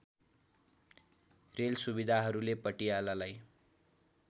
rail सु‍विधाहरूले पटियालालाई